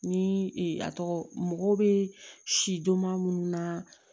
Ni a tɔgɔ mɔgɔ bɛ sidoma minnu na